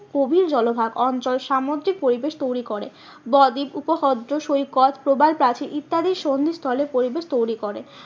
গভীর জলভাগ অঞ্চল সামুদ্রিক পরিবেশ তৈরী করে। বদ্বীপ উপহ্রদ সৈকত প্রবল প্রাচীর ইত্যাদির সন্ধিস্থলে পরিবেশ তৈরী করে।